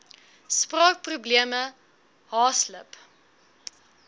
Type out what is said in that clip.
spraak probleme haaslip